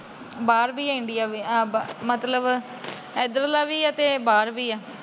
ਬਾਹਰ ਵੀ ਏ, ਇੰਡੀਆ ਵੀ ਏ। ਮਤਲਬ ਏਧਰ ਲਾ ਵੀ ਏ, ਬਾਹਰ ਵੀ ਏ।